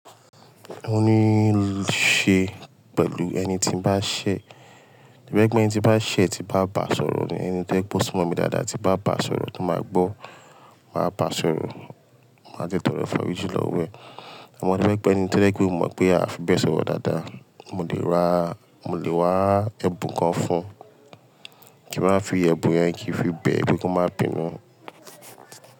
Mo ní í ṣe pẹ̀lú ẹni tí ń bá ṣẹ́, bí mo bá gbẹ ẹni tí ń bá ṣẹ́ tí bá bá sọ̀rọ̀ ni, ẹni tí ẹ̀kú sí mọ̀ mi dáadáa tí bá bá sọ̀rọ̀ tó máa gbọ́, màá bá sọ̀rọ̀, màá jẹ́ tọro afọríjin lọwo ẹ̀. Àmọ́ to ba je pe eni to je pe mo mọ̀ pé a fi bẹ sọ̀rọ̀ dáadáa, mo lè ra, mo lè wá ẹ̀bùn kan fún un kí n máa fi yẹ ẹ̀bùn yẹn kí i fi bẹ ẹ wípé kó má pinu.